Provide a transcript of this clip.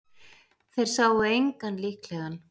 Þeir sáu engan líklegan